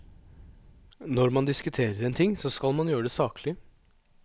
Når man diskuterer en ting, så skal man gjøre det saklig.